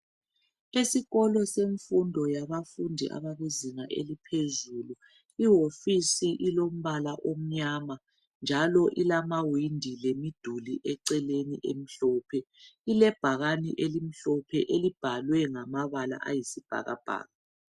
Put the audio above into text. Esikolo semfundo yabafundi abakuzinga eliphuzulu iwofisi ulombala omnyama njalo ilamawindi lemiduli eceleni emhlophe ilebhakane elimhlophe elibhalwe ngamabala ayisibhakabhaka.